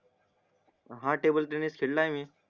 हा टेबलटेनिस खेलाय मी